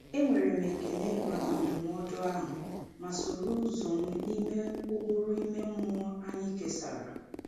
E nwere m ekele maka ndụmọdụ ahụ, ma soro ụzọ m n’ime ụkpụrụ ime mmụọ anyị kesàrà.